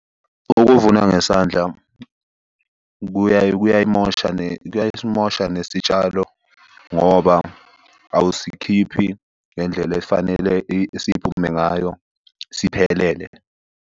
Ukuvuna ngesandla kuyayimosha kuyasimosha nesitshalo, ngoba awusikhiphi ngendlela efanele siphume ngayo siphelele.